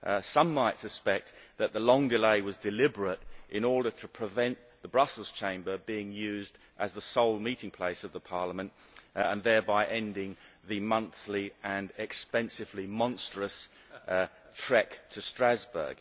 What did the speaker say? Some might suspect that the long delay was deliberate, in order to prevent the Brussels Chamber being used as the sole meeting place of this Parliament, thereby ending the monthly and expensively monstrous trek to Strasbourg.